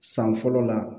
San fɔlɔ la